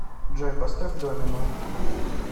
джой поставь домино